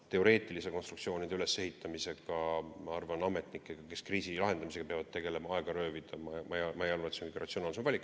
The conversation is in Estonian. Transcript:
Teoreetiliste konstruktsioonide ülesehitamise nõudega nende ametnike aega röövida, kes kriisi lahendamisega peavad tegelema – ma ei arva, et see on kõige ratsionaalsem valik.